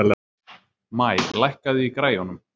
Maj, lækkaðu í græjunum.